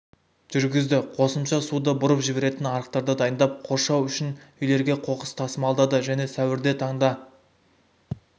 жүргізді қосымша суды бұрып жіберетін арықтарды дайындап қоршау үшін үйлерге қоқыс тасымалдады және сәуірде таңда